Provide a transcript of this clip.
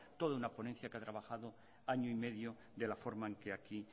toda una ponencia que ha trabajado año y medio de la forma en que aquí